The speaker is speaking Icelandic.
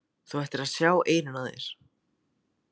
Þú ættir að sjá eyrun á þér!